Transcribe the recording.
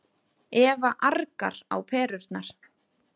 Eva argar á perurnar.